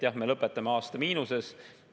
Jah, me lõpetame aasta miinuses.